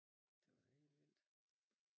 det var da helt vildt